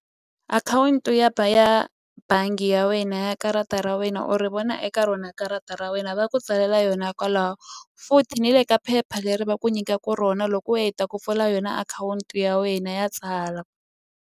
Akhawunti ya ya bangi ya wena ya karata ra wena u ri vona eka rona karata ra wena va ku tsalela yona kwalaho futhi ni le ka phepha leri va ku nyikaku rona loko u heta ku pfula yona akhawunti ya wena ya tsala.